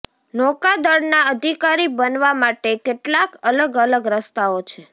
નૌકાદળના અધિકારી બનવા માટે કેટલાક અલગ અલગ રસ્તાઓ છે